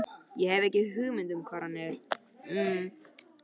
Ég hef ekki hugmynd um hvar hann er.